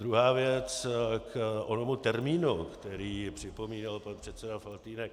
Druhá věc k onomu termínu, který připomínal pan předseda Faltýnek.